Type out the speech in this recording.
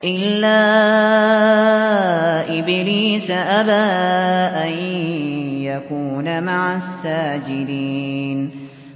إِلَّا إِبْلِيسَ أَبَىٰ أَن يَكُونَ مَعَ السَّاجِدِينَ